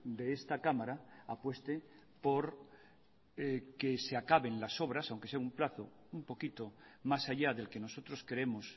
de esta cámara apueste por que se acaben las obras aunque sea un plazo un poquito más allá del que nosotros creemos